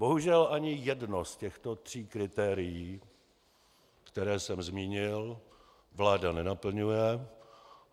Bohužel ani jedno z těchto tří kritérií, která jsem zmínil, vláda nenaplňuje.